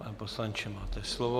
Pane poslanče, máte slovo.